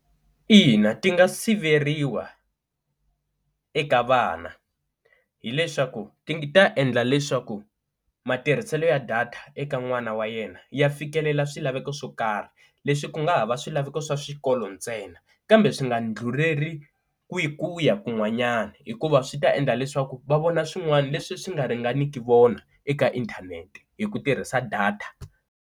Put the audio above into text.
Ina ti nga siveriwa eka vana hileswaku ti ta endla leswaku matirhiselo ya data eka n'wana wa yena ya fikelela swilaveko swo karhi leswi ku nga ha va swilaveko swa swikolo ntsena kambe swi nga ndlhuleri ku yi ku ya kun'wanyana hikuva swi ta endla leswaku va vona swin'wana leswi swi nga ringaniku vona eka inthanete hi ku tirhisa data.